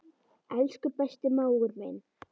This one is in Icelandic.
Elsku besti mágur minn.